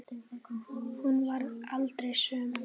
Hún varð aldrei söm.